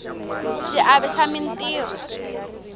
xiave xa mintirho